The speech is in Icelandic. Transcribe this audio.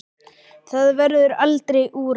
Það verður aldrei úrelt.